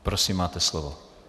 Prosím, máte slovo.